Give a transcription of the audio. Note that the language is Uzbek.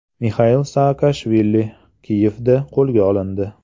Mixail Saakashvili Kiyevda qo‘lga olindi.